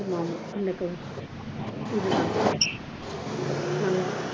ஆமா ஆமா இந்த color